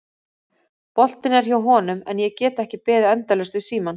Boltinn er hjá honum en ég get ekki beðið endalaust við símann.